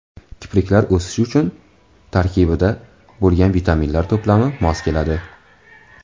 Kipriklar o‘sishi uchun tarkibida: bo‘lgan vitaminlar to‘plami mos keladi.